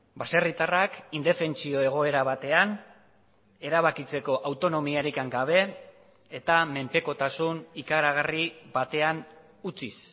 baserritarrak indefentsio egoera batean erabakitzeko autonomiarik gabe eta menpekotasun ikaragarri batean utziz